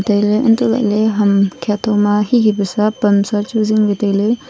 untoh lahley ham kyatho ma hihi paisa hamsa chu zingley tailey.